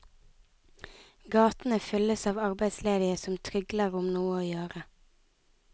Gatene fylles av arbeidsledige som trygler om noe å gjøre.